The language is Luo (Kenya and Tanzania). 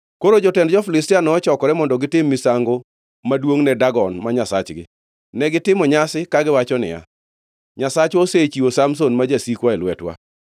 Koro jotend jo-Filistia nochokore mondo gitim misango maduongʼ ne Dagon ma nyasachgi, negitimo nyasi kagiwacho niya, “Nyasachwa osechiwo Samson ma jasikwa e lwetwa.”